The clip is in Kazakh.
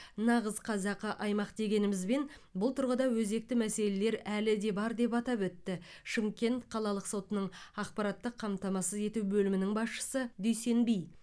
нағыз қазақы аймақ дегенімізбен бұл тұрғыда өзекті мәселелер әлі де бар деп атап өтті шымкент қалалық сотының ақпараттық қамтамасыз ету бөлімінің басшысы дүйсенби